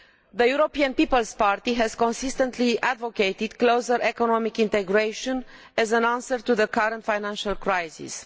The European People's Party has consistently advocated closer economic integration as an answer to the current financial crisis.